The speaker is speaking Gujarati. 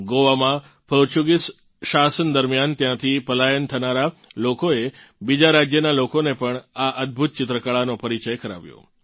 ગોવામાં પોર્ટુગિઝ શાસન દરમિયાન ત્યાંથી પલાયન થનારા લોકોએ બીજા રાજ્યનાં લોકોને પણ આ અદભુત ચિત્રકળાનો પરિચય કરાવ્યો